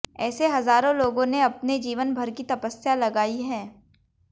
ऐसे हजारों लोगों ने अपने जीवन भर की तपस्या लगाई है